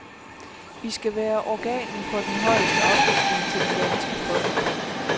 Vi skal være organet for den højeste oplysning til det danske folk.